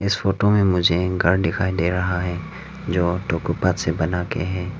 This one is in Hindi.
इस फोटो में मुझे एक घर दिखाई दे रहा है जो अटोकोपा से बना के है।